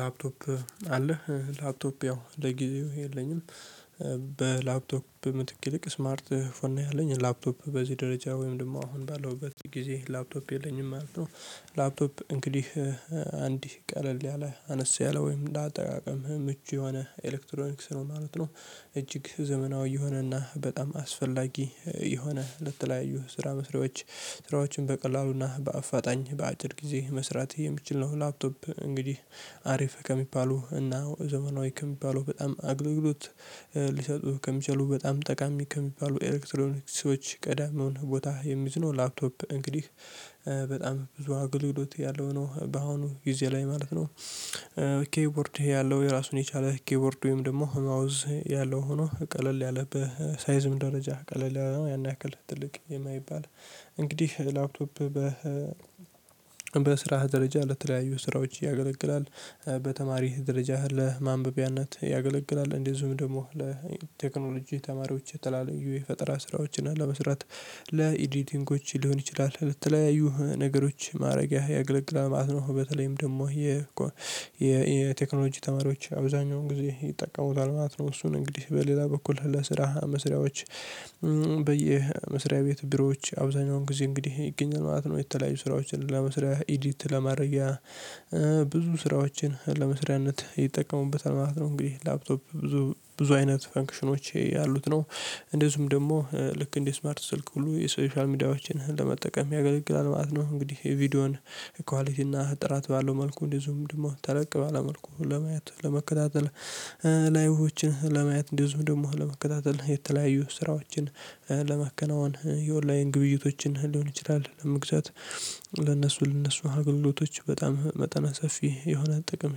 ላፕቶፕ አለህ ላፕቶፕ ያው ለጊዜው የለኝም በላፕቶፕ ምትክ ይልቅ ስማርት ፎን ያለኝ ላፕቶፕ በዚህ ደረጃ ወይም ደግሞ አሁን ባለሁበት ጊዜ ላፕቶፕ የለኝም ማለት ነው። ላፕቶፕ እንግዲህ አንድ ቀለል ያለ አነስ ያለ ወይም ለአጠቃቀም ምቹ የሆነ ኤሌክትሮኒክስ ነው ማለት ነው። እጅግ ዘመናዊ የሆነና በጣም አስፈላጊ የሆነ ለተለያዩ ስራ መስሪያዎች ስራዎችን በቀላሉና በአፋጣኝ በአጭር ጊዜ መስራት የምትችል ነው። ላፕቶፕ እንግዲህ አሪፍ ከሚባሉ እና ዘመናዊ ከሚባለው በጣም አግልግሎት ሊሰጡ ከሚችሉ በጣም ጠቃሚ ከሚባሉ ኤሌክትሮኒክስ ሰዎች ቀዳሚውን ቦታ የሚይዝ ነው። ላፕቶፕ እንግዲህ በጣም ብዙ አገልግሎት ያለው ነው በአሁኑ ጊዜ ላይ ማለት ነው። ኪይቦርድ ያለው የራሱን የቻለ ኪይቦርድ ወይም ደግሞ ማውዝ ያለው ሆኖ ቀለል ያለ በሳይዝም ደረጃ ቀለል ያን ያክል ትልቅ የማይባል እንግዲህ ላፕቶፕ በስራህ ደረጃ ለተለያዩ ስራዎች ያገለግላል። በተማሪህ ደረጃህ ለማንበቢያነት ያገለግላል እንደዚሁም ደግሞ ለቴክኖሎጂ ተማሪዎች የተለያዩ የፈጠራ ስራዎችን አለመስራት ለኤዲቲንጎች ሊሆን ይችላል። ለተለያዩ ነገሮች ማድረጊያ ያገለግላል ማለት ነው በተለይም ደግሞ የ የቴክኖሎጂ ተማሪዎች አብዛኛውን ጊዜ ይጠቀሙታል ማለት ነው። እሱን እንግዲህ በሌላ በኩል ለስራ መስሪያዎች በየመስሪያ ቤት ቢሮዎች አብዛኛውን ጊዜ እንግዲህ ይገኛል ማለት ነው። የተለያዩ ስራዎችን ለመስሪያ ኢዲት ለማረጊያ ለማድረጊያ ብዙ ስራዎችን ለመስሪያነት ይጠቀሙበታል ማለት ነው። እንግዲህ ላፕቶፕ ብዙ ብዙ አይነት ፈንክሽኖቼ ያሉት ነው። እንደዚሁም ደግሞ ልክ እንደ ስማርት ስልክ ሁሉ የሶሻል ሚዲያዎችን ለመጠቀም ያገለግላል ማለት ነው። እንግዲህ ቪዲዮውን ኳሊቲ እና ጥራት ባለው መልኩ እንዲዚሁም ደግሞ ተለቅ ባለ መልኩ ለማየት ለመከታተል። ላይቮችን ለማየት እንደዚሁም ደግሞ ለመከታተል የተለያዩ ስራዎችን ለማከናወን የኦንላይን ግብይቶችን ሊሆን ይችላል። ለመግዛት ለነሱ ለነሱ አገልግሎቶች በጣም መጠነ ሰፊ የሆነ ጥቅም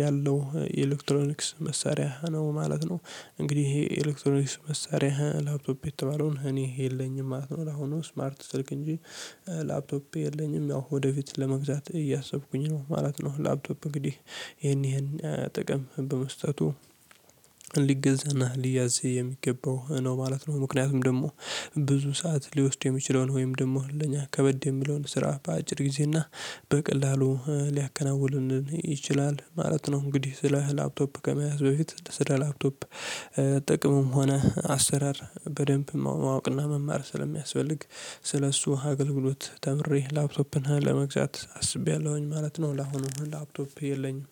ያለው የኤሌክትሮኒክስ መሳሪያ ነው ማለት ነው። እንግዲህ ይሄ ኤሌክትሮኒክስ መሳሪያ ላፕቶፕ የተባለውን እኔ የለኝም ማለት ነው። ለአሁኑ ስማርት ስልክ እንጂ ላፕቶፕ የለኝም ያው ወደፊት ለመግዛት እያሰብኩኝ ነው ማለት ነው። ላፕቶፕ እንግዲህ ይሄን ይሄን ጥቅም በመስጠቱ ሊገዛና ሊያዝ የሚገባው ነው ማለት ነው። ምክንያቱም ደግሞ ብዙ ሰዓት ሊወስድ የሚችለውን ወይም ደግሞ ለኛ ከበድ የሚለውን ስራ በአጭር ጊዜና በቀላሉ ሊያከናውንልን ይችላል ማለት ነው። እንግዲህ ስለ ላፕቶፕ ከመያዝ በፊት ስለ ላፕቶፕ ጥቅምም ሆነ አሰራር በደንብ ማወቅና መማር ስለሚያስፈልግ ስለሱ አገልግሎት ተምሬ ላፕቶፕን ለመግዛት አስቤያለሁኝ ማለት ነው። ለአሁኑ ላፕቶፕ የለኝም።